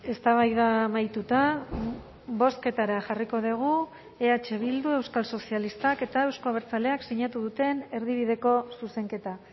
eztabaida amaituta bozketara jarriko dugu eh bildu euskal sozialistak eta euzko abertzaleak sinatu duten erdibideko zuzenketa